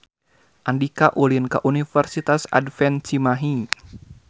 Andika ulin ka Universitas Advent Cimahi